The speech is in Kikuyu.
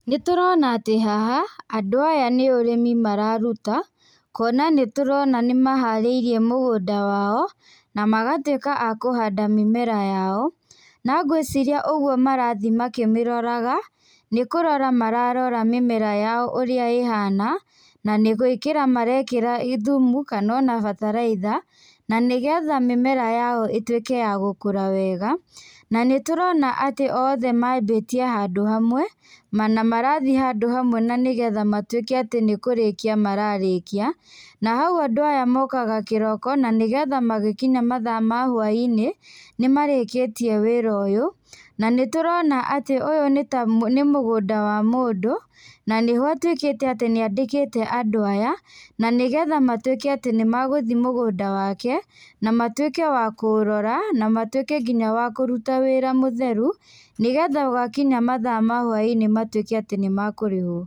Nitũrona atĩ haha andũ aya nĩ ũrĩmi mararuta. Kuona nĩtũrona nĩmaharĩirie mũgũnda wao na magatuĩka a kũhanda mĩmera yao. Na ngwĩciria ũguo marathiĩ makĩmĩroraga, nĩ kurora mararora mĩmera yao ũrĩa ĩhana. Na nĩ gũĩkira marekĩra thumu kana ona bataraitha, na nĩgetha mĩmera yao ĩtuĩke ya gũkũra wega. Na nĩtũrona atĩ othe mambĩtie handũ hamwe, na marathiĩ handũ hamwe na nĩgetha matuĩke atĩ nĩkũrĩkia mararĩkia. Na hau andũ aya mokaga kiroko na nĩgetha magĩkinya mathaa ma hwaĩ-inĩ nĩmarĩkĩtie wĩra ũyũ. Na nĩ tũrona atĩ ũyũ nĩ ta nĩ mũgũnda wa mũndũ. na nĩ ho atuĩkĩte atĩ nĩ andĩkĩte andũ aya nĩgetha matuĩke atĩ nĩmagũthiĩ mũgũnda wake na matuĩke wa kũũrora na matuĩke nginya wa kũruta wĩra mutheru, nĩgetha gwakinya mathaa ma hwaĩ-inĩ matuĩke nĩmakũrĩhwo.